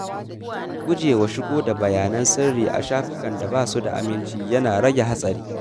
Gujewa shigo da bayanan sirri a shafukan da ba su da aminci yana rage hatsari.